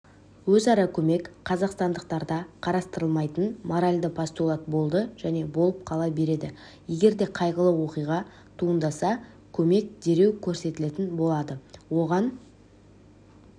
өзара көмек қазақстандықтарда қарастырылмайтын моралді постулат болды және болып қала береді егер де қайғылы оқиға туындаса көмек дереу көрсетілетін болады оған